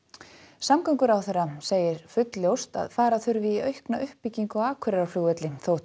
samgönguráðherra segir fullljóst að fara þurfi í aukna uppbyggingu á Akureyrarflugvelli þótt